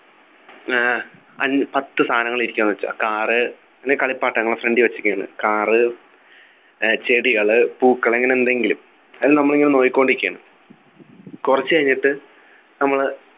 ഏർ അൻ പത്തു സാധനങ്ങൾ ഇരിക്കുന്നത് വെച്ചോ car അല്ലെ കളിപ്പാട്ടങ്ങൾ front ൽ വെച്ചിരിക്കുന്നു car ഏർ ചെടികളു പൂക്കൾ അങ്ങനെ എന്തെങ്കിലും അത് നമ്മളിങ്ങനെ നോക്കിക്കൊണ്ടിരിക്കുകയാണ്റ കുറച്ചു കഴിഞ്ഞിട്ട് നമ്മള്